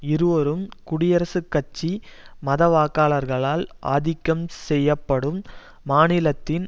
இருவரும் குடியரசுக் கட்சி மத வாக்காளர்களால் ஆதிக்கம் செய்யப்படும் மாநிலத்தின்